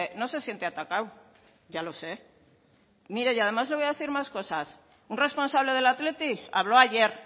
no se siente atacado ya lo sé y además le voy a decir más cosas un responsable del athletic habló ayer